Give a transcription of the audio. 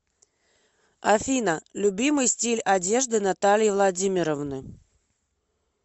афина любимый стиль одежды натальи владимировны